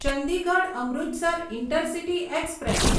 Chandigarh Amritsar intercity express